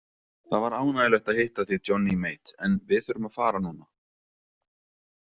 Það var ánægjulegt að hitta þig Johnny Mate en við þurfum að fara núna.